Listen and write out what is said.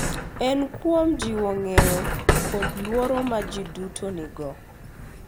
En kuom jiwo ng’eyo kod luor ma ji duto nigo.